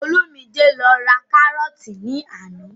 Olúmidé lọ ra kárọ́ọ̀tì ní àná